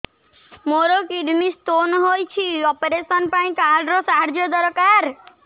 ମୋର kidney stone ହଇଛି operation ପାଇଁ ଏହି କାର୍ଡ ର ସାହାଯ୍ୟ ଦରକାର